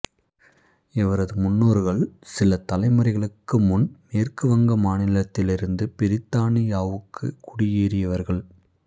இவரது முன்னோர்கள் சில தலைமுறைகளுக்கு முன் மேற்கு வங்க மாநிலத்திலிருந்து பிரித்தானியாவுக்குக் குடியேறியவர்கள்